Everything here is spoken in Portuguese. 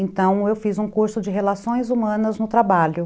Então, eu fiz um curso de relações humanas no trabalho.